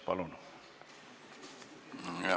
Palun!